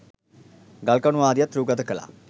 ගල් කණු ආදියත් රුගත කළා.